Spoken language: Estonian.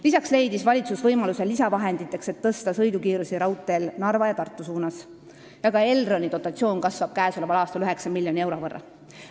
Lisaks leidis valitsus lisavahendeid, et tõsta sõidukiirust raudteel Narva ja Tartu suunal, ning ka Elroni dotatsioon kasvab käesoleval aastal 9 miljoni euro võrra.